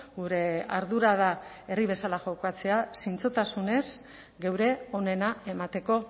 gure ardura da herri bezala jokatzea zintzotasunez geure onena emateko